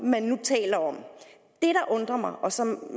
man nu taler om og som